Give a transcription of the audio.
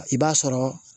I b'a sɔrɔ